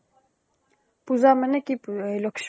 পুজা মানে কি পু ? লখী